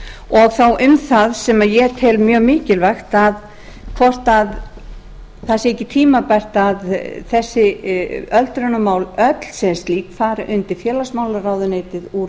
og þá um það sem ég tel mjög mikilvægt hvort ekki sé tímabært að þessi öldrunarmál öll sem slík fari undir félagsmálaráðuneytið úr